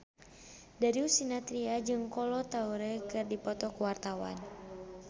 Darius Sinathrya jeung Kolo Taure keur dipoto ku wartawan